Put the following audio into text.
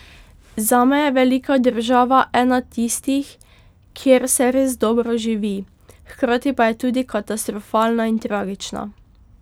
Zame je velika država, ena tistih, kjer se res dobro živi, hkrati pa je tudi katastrofalna in tragična.